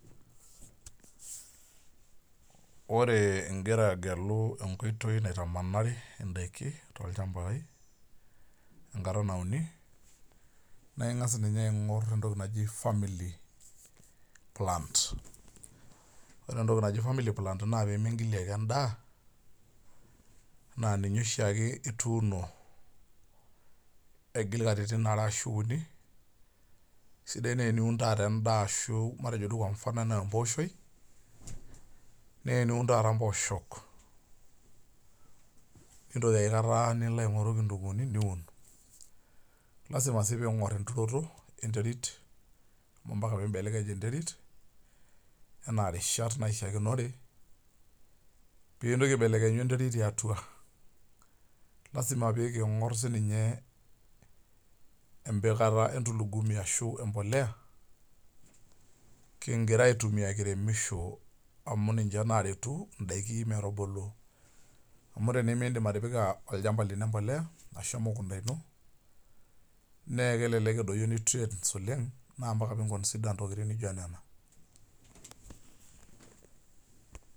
Ore igira agelu enkoitoi naitamanari idaiki tolchambai, enkata nauni, na ing'as ninye aing'or entoki naji family plants. Ore entoki naji family plant na pemigilie ake endaa, naa ninye oshiake ituuno, aigil katitin are ashu uni, sidai nai eniun taata endaa ashu matejo duo kwa mfano enaa empooshoi, neniun taata mpooshok nintoki aikata nilo aing'oru kitunkuuni, niun. Lasima si ping'or enturoto, enterit, ampaka pibelekeny enterit, enaa rishat naishaakinore, pintoki aibelekenyu enterit tiatua. Lasima peking'or sininye empikata endulugumi ashu empolea, kigira aitumia kiremisho amu ninche naretu idaiki metubulu. Amu tenimidim atipika olchamba lino empolea, ashu emukunda ino, nekelelek edoyio nutrients oleng, na mpaka pi consider nena tokiting nijo nena.